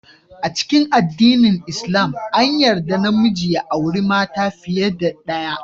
A cikin addinin lslam, an yarda namiji ya auri mata fiye da daya.